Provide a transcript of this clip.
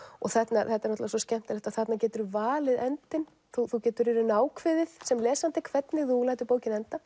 þetta er svo skemmtilegt að þarna geturðu valið endinn þú þú getur í rauninni ákveðið sem lesandi hvernig þú lætur bókina enda